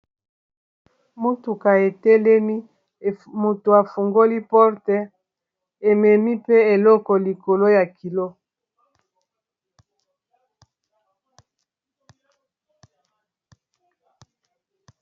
Motuka etelemi moto afungoli porte ememi mpe eloko likolo ya kilo.